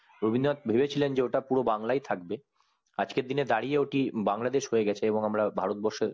রবীন্দ্রনাথ ভেবে ছিলেন যে ওটা পুরো বাংলায় থাকবেন আজকের দিনে দাঁড়িয়ে ওটি বাংলদেশ হয়েগেছে এবং আমরা ভারতবর্ষের